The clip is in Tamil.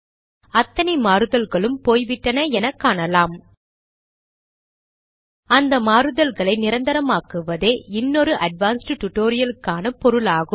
அத்தனை மாறுதல்களும் போய்விட்டன என காணலாம் இந்த மாறுதல்களை நிரந்தரமாக்குவதே இன்னொரு அட்வான்ஸ்ட் டுடோரியலுக்கான பொருளாகும்